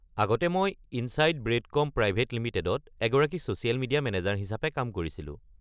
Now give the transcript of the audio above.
আগতে মই Insight Brandcom private লিমিটেডত এগৰাকী ছ'ছিয়েল মিডিয়া মেনেজাৰ হিচাপে কাম কৰিছিলো।